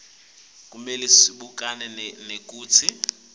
kumele sibukane nekutsi